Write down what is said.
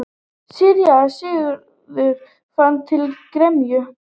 Síra Sigurður fann til gremju.